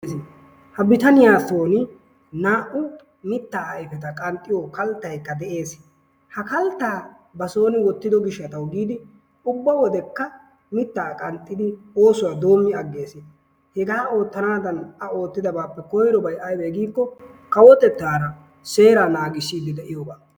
Ha bitaniyaa soon naa''u mitta ayfeta qanxxiyoo kalttaykka de'ees. Ha kaltta basoon wottido gishshataw giidi ubba wodekka mitta qanxxidi oosuwaa doomi aggees. Hegaa oottanadan A oottidabbappe koyrobay aybbe giiko kawotettara seera naagisside de'iyooga.